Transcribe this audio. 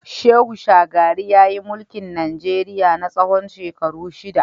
Shehu shagari yayi mulki Najeriya na tsawon shekaru shida.